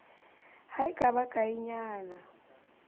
ha e ka ba kaenyana